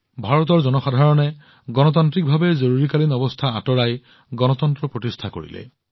ভাৰতৰ জনসাধাৰণে গণতান্ত্ৰিক উপায়েৰে জৰুৰীকালীন অৱস্থা আঁতৰাই গণতন্ত্ৰ প্ৰতিষ্ঠা কৰিছিল